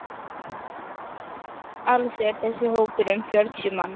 Alls er þessi hópur um fjörutíu manns.